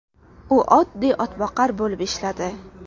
U oddiy otboqar bo‘lib ishladi.